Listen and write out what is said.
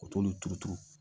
U t'olu turu turu